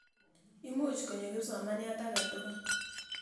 Imuch konyo kipsomaniat ake tukul.